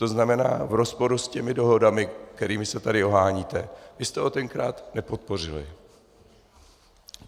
To znamená, v rozporu s těmi dohodami, kterými se tady oháníte, vy jste ho tenkrát nepodpořili.